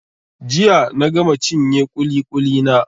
Jiya na gama cinye ƙuli-ƙuli na.